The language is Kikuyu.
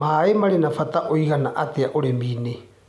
Maĩ marĩ na bata ũigana atĩa ũrĩminĩ.